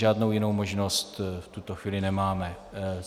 Žádnou jinou možnost v tuto chvíli nemáme.